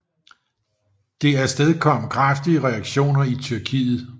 Det afstedkom kraftige reaktioner i Tyrkiet